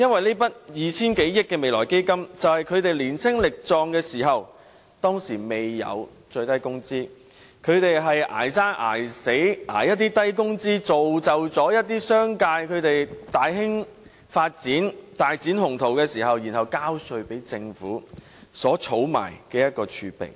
這筆 2,000 多億元的"未來基金"，是他們年青力壯時，在當時還未設最低工資時，"捱生捱死"，從事一些低工資的工作，從而造就一些商界大肆發展、大展鴻圖，然後交稅給政府，政府因而儲下這些儲備。